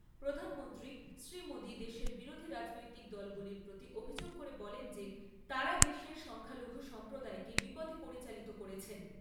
প্রধানমন্ত্রী শ্রী মোদী দেশের বিরোধী রাজনৈতিক দলগুলির প্রতি অভিযোগ করে বলেন যে তারা দেশের সংখ্যালঘু সম্প্রদায়কে বিপথে পরিচালিত করেছেন ।